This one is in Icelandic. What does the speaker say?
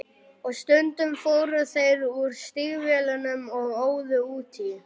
Og stundum fóru þeir úr stígvélunum og óðu út í.